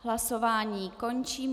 Hlasování končím.